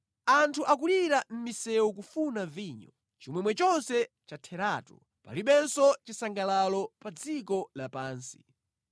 Anthu akulira mʼmisewu kufuna vinyo; chimwemwe chonse chatheratu, palibenso chisangalalo pa dziko lapansi.